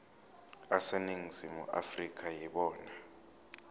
aseningizimu afrika yibona